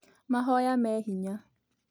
Mahoya me hinya